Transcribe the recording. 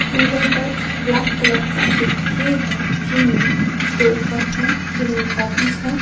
Table पर black colour का एक ट्रे है ट्रे में दो कप है जिनमें काफीस है।